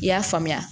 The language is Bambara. I y'a faamuya